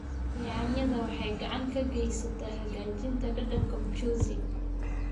Yaanyada waxay gacan ka geysataa hagaajinta dhadhanka mchuzi.